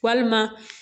Walima